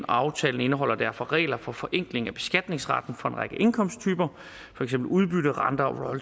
aftalen indeholder derfor regler for forenkling af beskatningsretten for en række indkomsttyper for eksempel udbytte renter og